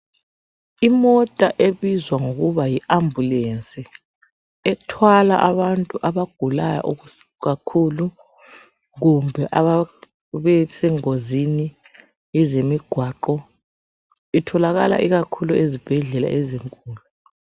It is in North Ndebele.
Imota ebizwa ngokuba yi ambulance ethwala abantu abagulayo kakhulu, kumbe ababesengozini yezemigwaqo, itholakala ikakhulu ezibhedlela ezinkulu.